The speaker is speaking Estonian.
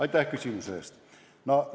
Aitäh küsimuse eest!